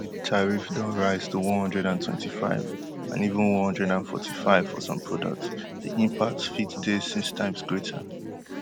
wey di tariff don rise to one hundred and twenty-five and even one hundred and forty-five for some products di impact fit dey six times greater